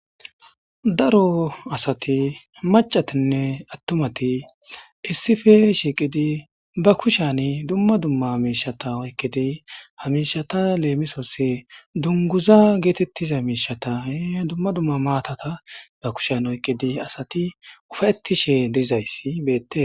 Daro asati macatinne attumati issife shiiqidi ba kushani dumma dumma amiishata oyqkidi hamishata leemisooss dunguza geetettiza miishata ee dumma dumma maatata ba kushen oyqqidi asati ufattishe dizayssi beette.